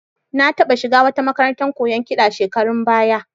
Na taɓa shiga wata makarantar koyon kiɗa shekarun baya